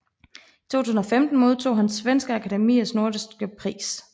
I 2015 modtog han Svenska Akademiens nordiske pris